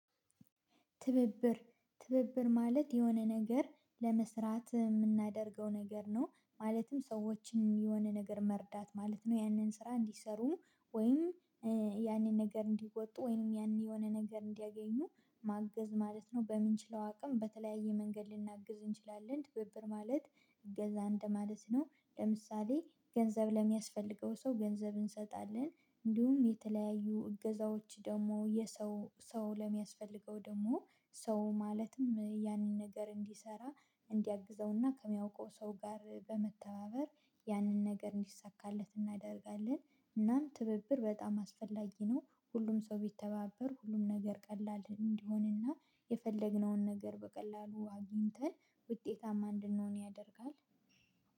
ትብብር ትብብር ማለት የሆነ ነገር ለመስራት የምናደርገው ነገር ነው ማለትም ሰዎችን የሆነ ነገር መርዳት ማለት ነው። ያንን ስራ እንዲሰሩ ወይም ያንን ነገር እንዲወጡ ወይም ያንን የሆነ ነገር እንዲያገኙ ማገዝ ማለት ነው። በምንችለው አቅም በተለያየ መንገድ ልናግዝ እንችላለን ትብብር ማለት እገዛ እንደማለት ነው። ለምሳሌ ገንዘብ ለሚያስፈልገው ሰው ገንዘብ እንሰጣለን እንዲሁም የተለያዩ እገዛዎች ደግሞ የሰው ሰው ለሚያስፈልገው ደግሞ ሰው ማለትም ያንን ነገር እንዲሰራ እንዲያግዘውና ከሚያውቀው ሰው ጋር በመተባበር ያንን ነገር እንዲሳካለት እናደርጋለን። እናም ትብብር በጣም አስፈላጊ ነው። ሁሉም ሰው ቢተባበር ሁሉም ነገር ቀላል እንዲሆንና የፈለግነውን ነገር በቀላሉ አግኝተን ውጤታማ እንድንሆን ያደርጋል።